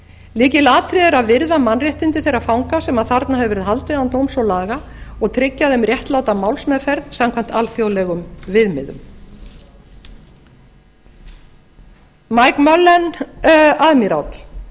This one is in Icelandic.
lykilatriði er að virða mannréttindi þeirra fanga sem þarna hefur verið haldið án dóms og laga og tryggja þeim réttláta málsmeðferð samkvæmt alþjóðlegum viðmiðum mike mullen